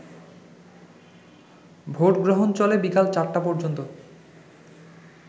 ভোটগ্রহণ চলে বিকেল ৪টা পর্যন্ত